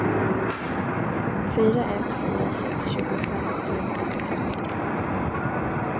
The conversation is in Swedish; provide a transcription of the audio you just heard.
fyra ett fyra sex tjugofem trehundrasextiotre